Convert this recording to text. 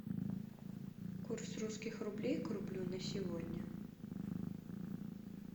курс русских рублей к рублю на сегодня